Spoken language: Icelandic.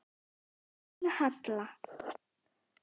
Þín Halla.